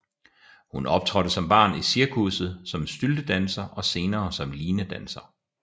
Hun optrådte som barn i cirkusset som styltedanser og senere som linedanser